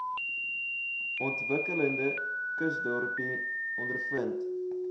ontwikkelende kusdorpe ondervind